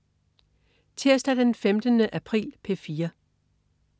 Tirsdag den 15. april - P4: